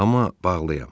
Amma bağlıyam.